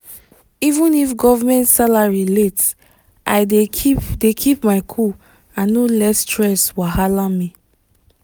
even if government salary late i dey keep dey keep my cool and no let stress wahala me